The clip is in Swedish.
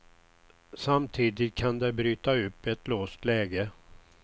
Samtidigt kan det bryta upp ett låst läge.